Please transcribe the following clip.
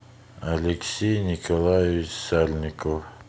алексей николаевич сальников